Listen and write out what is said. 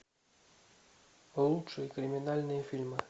лучшие криминальные фильмы